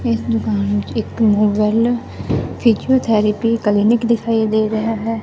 ਇਸ ਦੁਕਾਨ ਵਿੱਚ ਇੱਕ Move Well physiotherapy clinic ਦਿਖਾਈ ਦੇ ਰਹੇ ਹਨ।